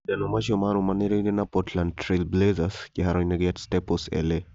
Macindano macio maarũmanĩrĩire na Portland Trail Blazers. Kĩhaaro-inĩ kĩa Staples, LA.